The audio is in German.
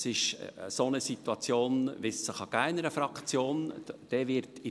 Es ist eine Situation, wie es sie in einer Fraktion geben kann.